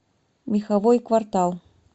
меховой квартал